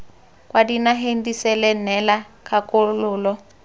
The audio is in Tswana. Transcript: kwa dinageng disele neela kgakololo